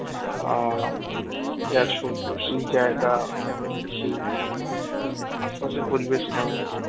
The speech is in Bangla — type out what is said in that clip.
আ গেছো তো সেই জায়গা কেমন সেই আশেপাশের পরিবেশ কেমন